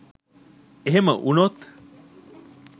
එහෙම වුනොත්